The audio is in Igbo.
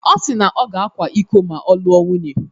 Ọ si na ọ ga-akwa iko ma ọ lụọ nwunye.